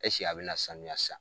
a bɛ na sanuya san?